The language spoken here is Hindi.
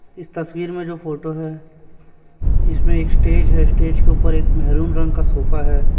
इस तस्वीर में जो फोटो है इसमें स्टेज है स्टेज के ऊपर एक मेहरून रंग का सोफा है।